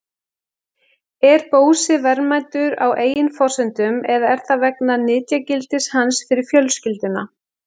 Er Bósi verðmætur á eigin forsendum eða er það vegna nytjagildis hans fyrir fjölskylduna?